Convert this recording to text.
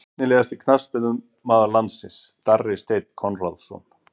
Efnilegasti knattspyrnumaður landsins: Darri steinn konráðsson